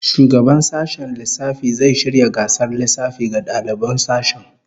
Shugaban sashen lissafi zai shirya gasar lissafi ga daliban sashen